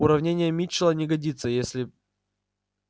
уравнение митчелла не годится если